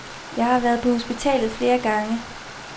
Jeg har været på hospitalet flere gange.